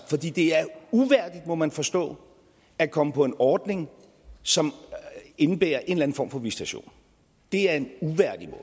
uværdigt må man forstå at komme på en ordning som indebærer en eller anden form for visitation det er en uværdig